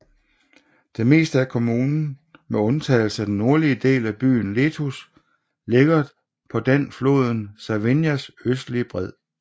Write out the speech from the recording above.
Det meste af kommunen med undtagelse af den nordlige del af byen Letuš ligger på den floden Savinjas østlige bred